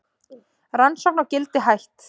Rannsókn á Gildi hætt